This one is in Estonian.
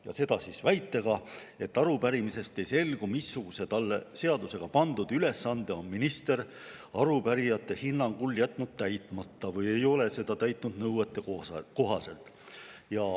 Ta tegi seda väitega, et arupärimisest ei selgu, missuguse talle seadusega pandud ülesande on minister arupärijate hinnangul jätnud täitmata või ei ole seda täitnud nõuetekohaselt.